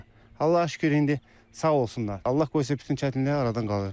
Allaha şükür indi sağ olsunlar, Allah qoysa bütün çətinliklər aradan qalxır.